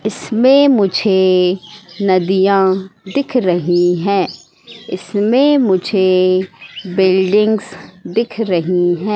मैं मुझे नदियां दिख रही है इसमें मुझे बिल्डिंग्स दिख रही है।